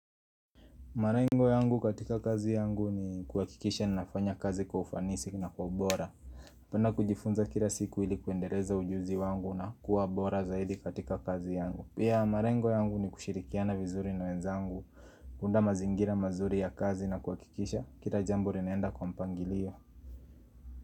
Malengo yangu katika kazi yangu ni kuhakikisha ninafanya kazi kwa ufanisi na kwa bora Napenda kujifunza kila siku ili kuendeleza ujuzi wangu na kuwa bora zaidi katika kazi yangu. Pia malengo yangu ni kushirikiana vizuri na wenzangu kuunda mazingira mazuri ya kazi na kuhakikisha, kila jambo linaenda kwa mpangilio.